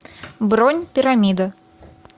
бронь пирамида